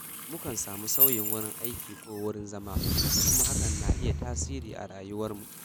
Mukan samu sauyin wurin aiki ko wurin zama, kuma hakan na yin tasiri a rayuwarmu